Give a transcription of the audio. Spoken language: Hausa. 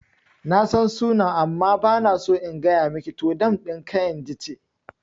Nasan sunan amma bana so in gaya miki, to dam ɗin kainji ce